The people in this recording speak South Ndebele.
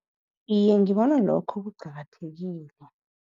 Iye, ngibona lokho kuqakathekile.